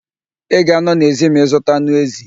Ị ga a nọ n'èzí ma ị zuta anụ èzì.